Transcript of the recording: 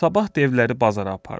Sabah devləri bazara apardı.